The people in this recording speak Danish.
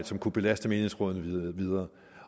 som kunne belaste menighedsrådene yderligere